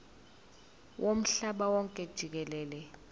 womhlaba wonke jikelele